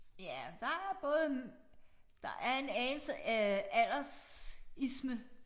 Ja der både en der er en anelse øh aldersisme